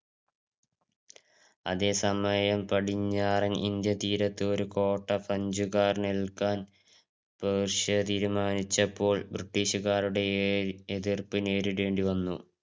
അതേസമയം പടിഞ്ഞാറൻ ഇന്ത്യ തീരത്ത് ഒരു കോട്ട French കാർ നല്കാൻ പേർഷ്യ തിരുമാനിച്ചപ്പോൾ British ക്കാരുടെ എതിർപ്പ് എൽക്കേണ്ടി വന്നു.